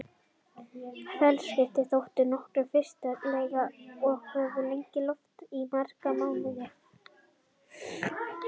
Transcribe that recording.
Félagaskiptin þóttu nokkuð fyrirsjáanleg og höfðu legið í loftinu í marga mánuði.